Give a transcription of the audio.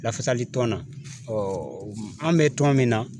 Lafasalitɔn na an bɛ tɔn min na